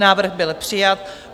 Návrh byl přijat.